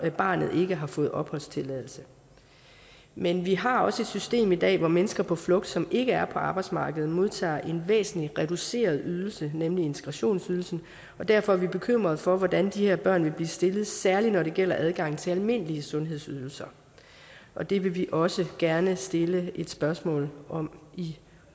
barnet ikke har fået opholdstilladelse men vi har også et system i dag hvor mennesker på flugt som ikke er på arbejdsmarkedet modtager en væsentligt reduceret ydelse nemlig integrationsydelsen og derfor er vi bekymret for hvordan de her børn vil blive stillet særlig når det gælder adgang til almindelige sundhedsydelser og det vil vi også gerne stille et spørgsmål om i